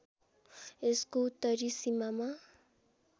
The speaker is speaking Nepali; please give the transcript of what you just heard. यसको उत्तरी सिमामा